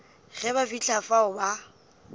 ge ba fihla fao ba